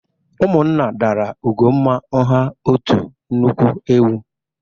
Ụmụnna dara Ugonma ngha otu nnukwu ewu